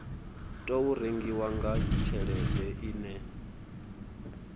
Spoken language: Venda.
tou rengiwa na tshelede ine